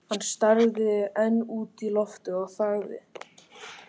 Hann starði enn út í loftið og þagði.